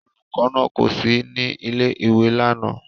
Olùkọ́ náà kò sí ní ilé-ìwé lánàá.